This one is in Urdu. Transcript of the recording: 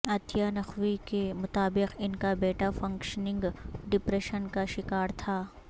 عطیہ نقوی کے مطابق ان کا بیٹا فنکشنگ ڈپریشن کا شکار تھا